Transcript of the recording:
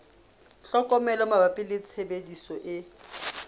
tlhokomelo mabapi le tshebediso e